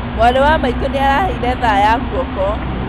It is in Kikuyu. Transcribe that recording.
Mwarĩ wa maitũ nĩaraheire thaa ya guoko